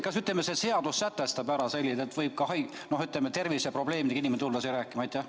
Kas see seadus sätestab ära, et võib ka haige, ütleme, terviseprobleemidega inimene tulla siia rääkima?